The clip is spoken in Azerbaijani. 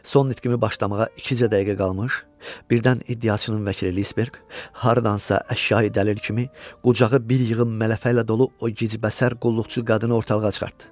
Son nitqini başlamağa ikicə dəqiqə qalmış, birdən iddiaçının vəkili Lisberq hardansa əşyayi dəlil kimi qucağı bir yığın mələfə ilə dolu o gicbəsər qulluqçu qadını ortalığa çıxartdı.